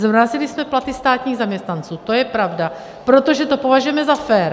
Zmrazily se platy státních zaměstnanců, to je pravda, protože to považujeme za fér.